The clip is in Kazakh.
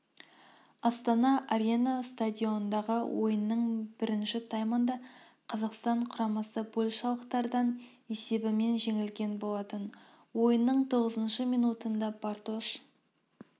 астана арена стадионындағы ойынның бірінші таймында қазақстан құрамасы польшалықтардан есебімен жеңілген болатын ойынның тоғызыншы минутында бартош